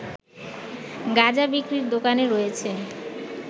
গাঁজা বিক্রির দোকান রয়েছে